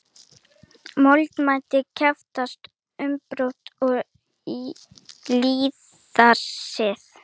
Mótmælendur krefjast umbóta og lýðræðis